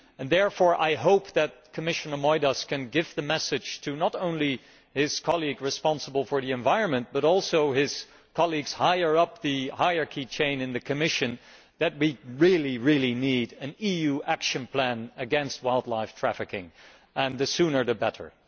I therefore hope that Commissioner Moedas can give the message not only to his colleague responsible for the environment but also to his colleagues higher up the hierarchy in the Commission that we really need an EU action plan against wildlife trafficking, and the sooner the better.